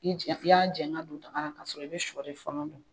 Ni y'a jɛngɛ ka don daka la ka sɔrɔ i be sɔ de fɔlɔ don.